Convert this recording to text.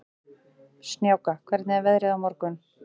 Snjáka, hvernig er veðrið á morgun?